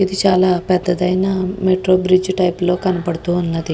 ఇది చాలా పెద్దది ఐన మెట్రో బ్రిడ్జి టైపు లో కనపడుతుంది.